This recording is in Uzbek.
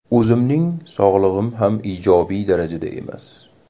O‘zimning sog‘lig‘im ham ijobiy darajada emas.